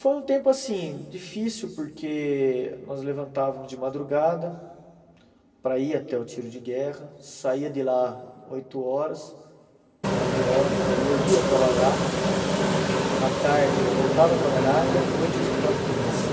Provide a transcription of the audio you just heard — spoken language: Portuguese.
Foi um tempo, assim, difícil, porque nós levantávamos de madrugada para ir até o tiro de guerra, saía de lá oito horas, nove horas, aí eu ia trabalhar, à tarde eu voltava a trabalhar e à noite eu estudava por conta.